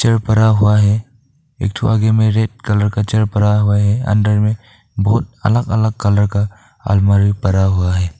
जो पड़ा हुआ है एक ठो आगे में रेड कलर का चेयर पड़ा हुआ है अंदर में बहुत अलग अलग कलर का अलमारी पड़ा हुआ है।